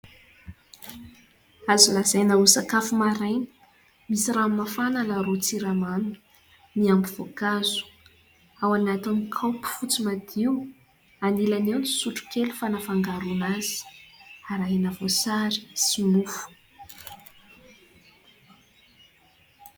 Azo lazaina ho sakafo maraina. Misy rano mafana miaro siramamy. Miampy voankazo ao anatin'ny kaopy fotsy madio. Anilany eo ny sotrokely fangaroana azy. Arahina voasary sy mofo.